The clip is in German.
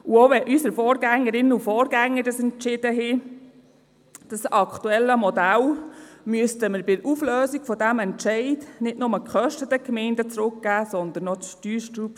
Auch wenn sich unsere Vorgängerinnen und Vorgänger so für das aktuelle Modell entschieden hatten, müssten wir bei der Auflösung dieses Entscheides nicht nur den Gemeinden die Kosten zurückgeben, sondern auch das Steuersubstrat.